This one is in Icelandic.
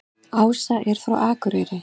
Ása er frá Akureyri.